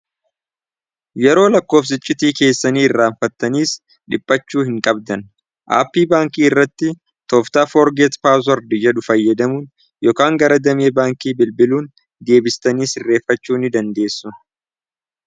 yeroo lakkoofsichitii keessanii irraanfattaniis dhiphachuu hin qabdan aappii baankii irratti tooftaa forgeet paaswardiyyadhu fayyadamuun yokaan gara damiya baankii bilbiluun deebistaniis irreeffachuu ni dandeessu